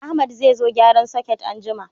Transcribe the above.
Ahmad zai zo gyaran soket anjima